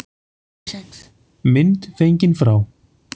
Mynd fengin frá